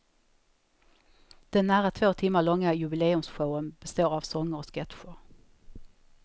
Den nära två timmar långa jubileumsshowen består av sånger och sketcher.